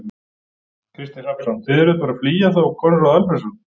Kristinn Hrafnsson: Þið eruð bara flýja þá Konráð Alfreðsson?